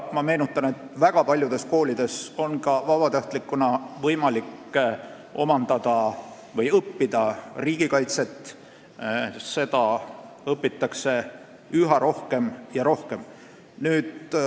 Ma meenutan, et väga paljudes koolides on võimalik vabatahtlikult õppida riigikaitset ning seda õpitakse üha rohkem ja rohkem.